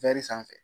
sanfɛ